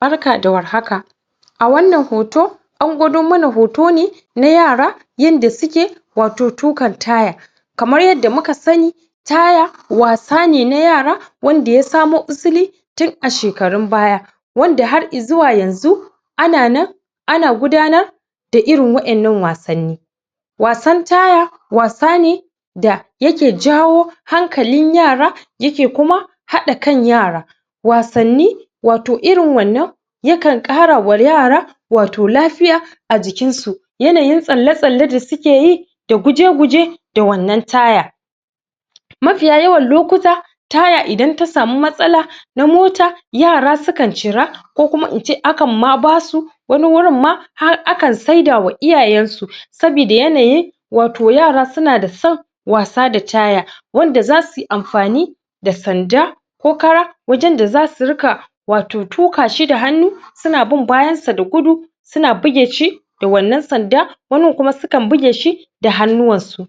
Barka da warhaka a wannan hoto an gwado mana hoto ne na yara yadda suke wato tuƙan taya kamar yadda muka sani taya wasa ne na yara wanda ya samo usili tun a shekarun baya wanda har izuwa yanzu ana nan ana gudanar da irin wa'yan nan wasanni wasan taya wasa ne da yake jawo hankalin yara yake kuma haɗa kan yara wasanni wato irin wannan yakan ƙarawa yara wato lafiya a jikin su yanayin tsale-tsale da suke yi da guje-guje da wannan taya mafiya yawan lokuta taya idan ta sami matsala na mota yara sukan cira ko kuma in ce akan ma basu wani wurin ma har akan saidawa iyayen su sabida yanayin wato yara suna da son wasa da taya wanda zasi amfani da sanda ko kara wanjan da su riƙa wato tuƙa shi da hannu suna bin bayan sa da guda suna bige shi da wannan sanda wanin kuma su kan bige shi da hannuwansu